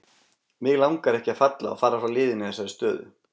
Mig langar ekki að falla og fara frá liðinu í þessari stöðu.